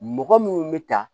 Mɔgɔ minnu bɛ ta